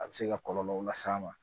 A bɛ se ka kɔlɔlɔw las'a ma